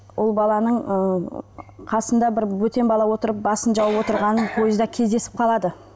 ол баланың ыыы қасында бір бөтен бала отырып басын жауып отырғанын пойызда кездесіп қалады